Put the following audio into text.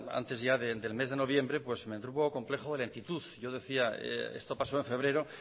antes ya del mes de noviembre pues me entró un poco complejo de lentitud yo decía esto pasó en febrero